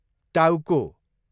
टाउको